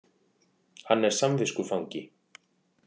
Hann er samviskufangi